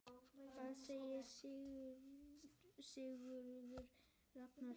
Hvað segir Sigurður Ragnar?